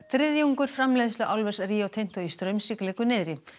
þriðjungur framleiðslu álvers Rio Tinto í Straumsvík liggur niðri